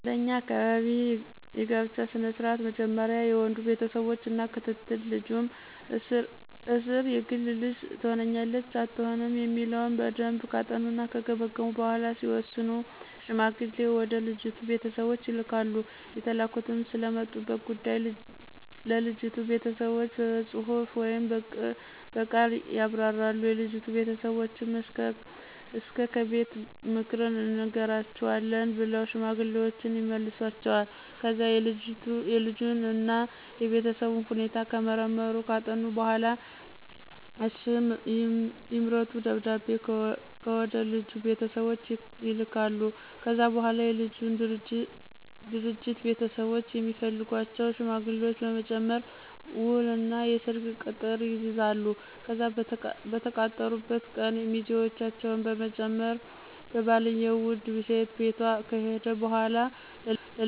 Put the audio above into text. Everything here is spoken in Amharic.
በኛ አካባቢ የጋብቻ ስነ ስርዓት መጀመሪያ የወንዱ ቤተሰቦች እና ክትትል ልጁም እስር የግል ልጅ ትሆነናለች አትሆንም የሚለውን በደምብ ካጠኑና ከገመገሙ በኋላ ሲወስኑ ሽማግሌ ወደ ልጅቱ ቤተሰቦች ይልካሉ የተላኩትም ስለመጡበት ጉዳይ ለልጅቱ ቤተሰቦች በጽሁፍ ወይም ብቅል ያብራራሉ፤ የልጅቱ ቤተሰቦችም እስከ ከቤት ምክርን እንነግራቹአለን ብለው ሽማግሌወችን ይመልሷቸዋል። ከዛ የልጁን እና የቤተሰቡን ሁኔታ ከመረመሩና ካጠኑ በኋላ እሽ ይምረጡ ደብዳቤ ወደልጁ ቤተሰቦች ይልካሉ። ከዛ በኋላ የልጁና ድርጅት ቤተሰቦች የሚፈልጓቸውን ሽማግሌዎች በመጨመር ውል እና የሰርግ ቅጥር ይይዛሉ፤ ከዛ በተቃጠሩበት ቀን ሚዜውችን በመጨመር ባልየው ውድ ሴቷ ቤት ከሄደ በኋላ ለልጅቷ አስፈላጊውን ልብስን ቀለበት ስቶ ምግብ ክብር እና ከጠጡ በኋላ የተለያዩ ባህላዊ ጭፈራወችን ሲጨፍሩ ቆይተው ልጅቷን ይዘው ይመለሳሉ።